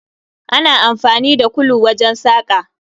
Ana amfani da kulu wajen saƙa